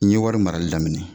N ye wari marali daminɛ